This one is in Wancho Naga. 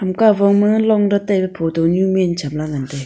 eka phong ma long datai pe photo ne min chapla ngan taiga.